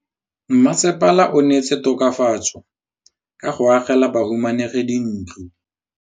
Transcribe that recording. Mmasepala o neetse tokafatsô ka go agela bahumanegi dintlo.